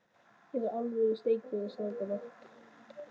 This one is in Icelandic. Hér er alvöru steik fyrir stráka.